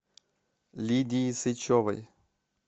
лидии сычевой